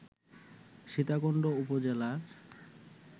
সীতাকুণ্ড উপজেলার